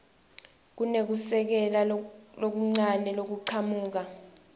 kunekusekela lokuncane lokuchamuka